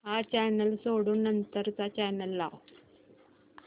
हा चॅनल सोडून नंतर चा चॅनल लाव